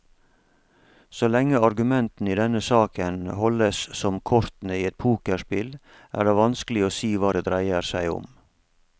Så lenge argumentene i denne saken holdes som kortene i et pokerspill, er det vanskelig å si hva det dreier seg om.